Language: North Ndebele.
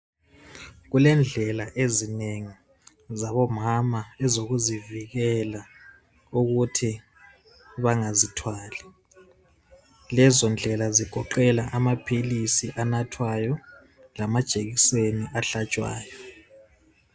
Kulendlela ezinengi zabo mama ezokuzivikela ukuthi bangazithwali. Lezo ndlela zigoqela amaphilisi anathwayo lama ijekiseni ahlatshwayo.